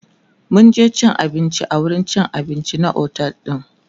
mun je cin abinci a wurin cin abinci na otel din